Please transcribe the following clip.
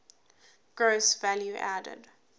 gross value added